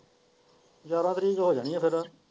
ਗਿਆਰ੍ਹਾਂ ਤਾਰੀਕ ਹੋ ਜਾਣੀ ਹੈ ਫੇਰ।